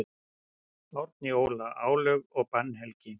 Árni Óla: Álög og bannhelgi.